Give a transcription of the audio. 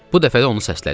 Bu dəfə də onu səslədik.